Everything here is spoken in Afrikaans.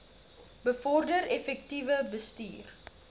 bevorder effektiewe bestuur